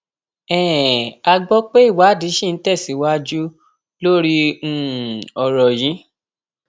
um a gbọ pé ìwádìí ṣì ń tẹsíwájú lórí um ọrọ yìí